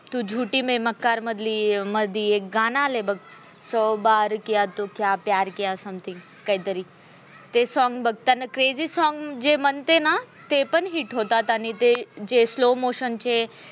तू झुटी मे मक्कर मध्ये मधलं गाणं आलंय बघ सो बार किया तो क्या प्यार किया something काहीतरी ते song बघ crazy जे मनते ना ते पण hit होतात ते जे slow motion चे